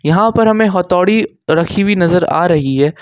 यहां पर हमें हथौड़ी रखी हुई नजर आ रही है।